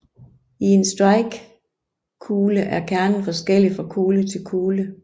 I en strikekugle er kernen forskellig fra kugle til og kugle